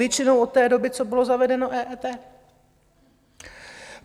Povětšinou od té doby, co bylo zavedeno EET.